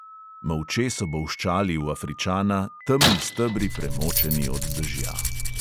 Molče so bolščali v afričana, temni stebri, premočeni od dežja.